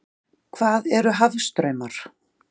Hvað eru hafstraumar?